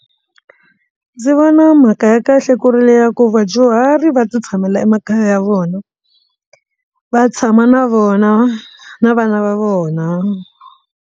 Ndzi vona mhaka ya kahle ku ri leya ku vadyuhari va ti tshamela emakaya ya vona va tshama na vona na vana va vona.